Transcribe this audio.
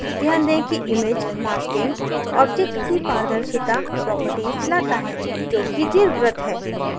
ध्यान दें कि image masking object की पारदर्शिता properties लाता है जो कि दीर्घवृत्त है